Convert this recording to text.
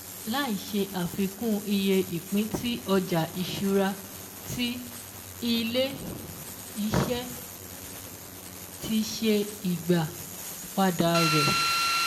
Láì ṣe àfikún iye ìpín tí ọjà ìṣúra tí Ilé-iṣẹ́ ti ṣe ìgbà-padà rẹ̀